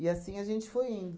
E assim a gente foi indo.